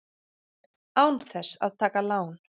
Án þess að taka lán!